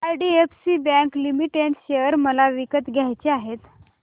IDFC bank limited share मला विकत घ्यायचे आहेत